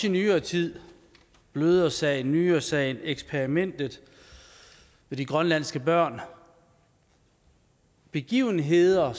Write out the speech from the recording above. i nyere tid blødersagen nyresagen eksperimentet med de grønlandske børn begivenheder